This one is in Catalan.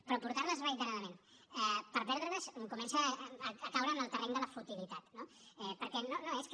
però portar les reiteradament per perdre les comença a caure en el terreny de la futilitat no perquè no és que